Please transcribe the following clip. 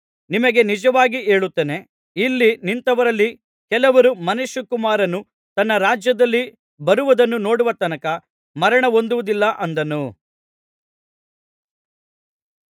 ನಿಮಗೆ ನಿಜವಾಗಿ ಹೇಳುತ್ತೇನೆ ಇಲ್ಲಿ ನಿಂತವರಲ್ಲಿ ಕೆಲವರು ಮನುಷ್ಯಕುಮಾರನು ತನ್ನ ರಾಜ್ಯದಲ್ಲಿ ಬರುವುದನ್ನು ನೋಡುವ ತನಕ ಮರಣಹೊಂದುವುದಿಲ್ಲ ಅಂದನು